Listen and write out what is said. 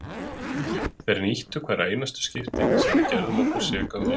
Þeir nýttu hvert einasta skipti sem að við gerðum okkur seka um mistök.